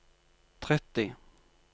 tretti